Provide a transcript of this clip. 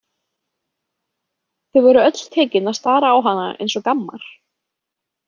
Þau voru öll tekin að stara á hana eins og gammar.